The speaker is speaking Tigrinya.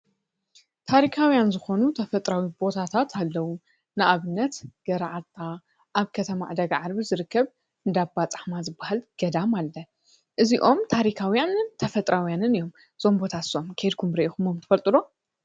ታሪካዊያን ዝኮኑ ተፈጥሯዊ ቦታታት አለዉ ንአብነት ገረዓልታ አብ ከተማ ዕዳጋ ዓርቢ ዝርከብ እንዳ ባ ፃህማ ዝበሃል ገዳም አሎ እዚኦም ታሪካዉያንን ተፈጥሯዊን እዮም። እዞም ቦታታት ንሶም ኬድኩም ርኢኩሞም ትፈልጡ ዶ ?